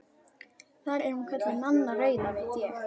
Þar er hún kölluð Nanna rauða, veit ég.